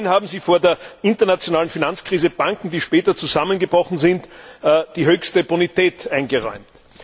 Immerhin haben sie vor der internationalen Finanzkrise Banken, die später zusammengebrochen sind, die höchste Bonität eingeräumt.